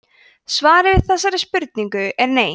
svarið við þessari spurningu er nei